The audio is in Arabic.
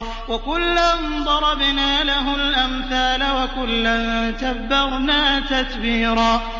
وَكُلًّا ضَرَبْنَا لَهُ الْأَمْثَالَ ۖ وَكُلًّا تَبَّرْنَا تَتْبِيرًا